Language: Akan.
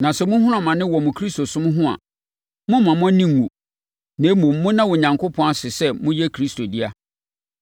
Na sɛ mohunu amane wɔ mo Kristosom ho a, mommma mo ani nnwu, na mmom, monna Onyankopɔn ase sɛ moyɛ Kristo dea.